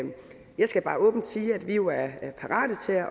jeg skal bare åbent sige at vi jo er parate til at